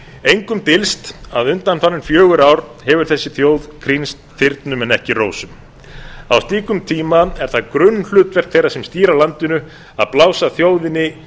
engum dylst að undanfarin fjögur ár hefur þessi þjóð krýnst þyrnum en ekki rósum á slíkum tíma er það grunnhlutverk þeirra sem stýra landinu að blása þjóðinni